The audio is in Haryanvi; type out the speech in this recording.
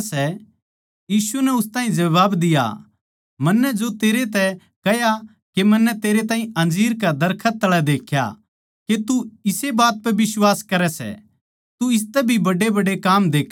यीशु नै उस ताहीं जबाब दिया मन्नै जो तेरै तै कह्या के मन्नै तेरै ताहीं अंजीर कै दरखत तळै देख्या के तू इस्से बात पै बिश्वास करै सै तू इसतै भी बड्डेबड्डे काम देक्खैगा